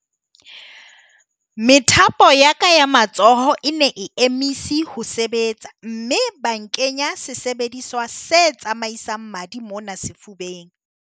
"Methapo ya ka ya matsoho e ne e emise ho sebetsa mme ba nkenya sesebediswa se tsamaisang madi mona sefubeng."